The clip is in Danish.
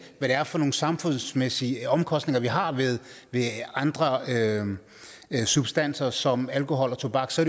det er for nogle samfundsmæssige omkostninger vi har ved andre substanser som alkohol og tobak så